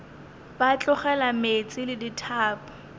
ba tlogela meetse le dithapo